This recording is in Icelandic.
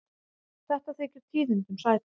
Þetta þykir tíðindum sæta.